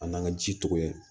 An n'an ka ji to yen